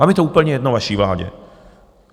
Vám je to úplně jedno, vaší vládě!